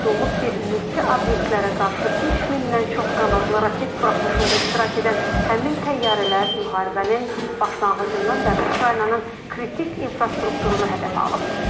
Qeyd olunub ki, mülki obyektlərə qarşı 3000-dən çox qanadlı raket buraxılışında iştirak edən həmin təyyarələr müharibənin başlanğıcından bəri Ukraynanın kritik infrastrukturunu hədəfə alıb.